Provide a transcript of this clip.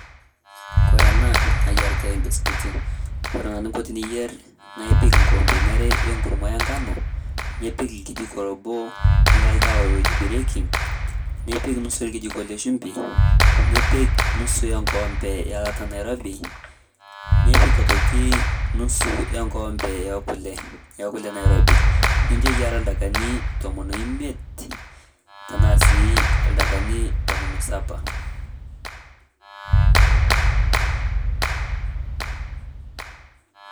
Kore ena nayaarita mbisikutii kore naa niinko tiniyeer naa ipiik koombeni aare enkurumua enkano nipiik lkijiko oboo le ldewa oitibirieki, nipiik nusu elkijikooo le shumbii , nipiik nusu enkoombe elataa nairobi, nipiik oitoki nusu enkombe e kulee e kulee nairobi. Ninchoo eyaara ldakani tomoon oimiet tana sii ldakani tomoon osapa.